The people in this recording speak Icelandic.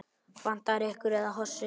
Vantar ykkur ekki hosur?